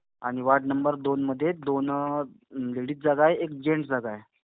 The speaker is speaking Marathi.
आणि वॉर्ड नंबर दोनमध्ये दोन अं लेडीज जागा आहे, एक जेन्ट्स जागा आहे.